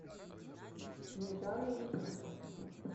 снежана ефимова